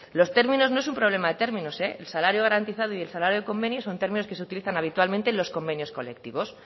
los términos no es un problema de términos eh el salario garantizado y el salario de convenio son términos que se utilizan habitualmente en los convenios colectivos